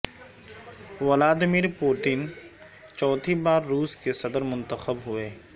Vladimir Putin چوتھی بار روس کے صدر منتخب ہوئے